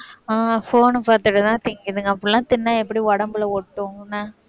ஆஹ் phone பார்த்துட்டுதான் திங்குதுங்க அப்படிலாம் தின்னா எப்படி உடம்புல ஒட்டும் என்ன